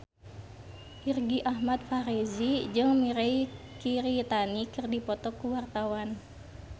Irgi Ahmad Fahrezi jeung Mirei Kiritani keur dipoto ku wartawan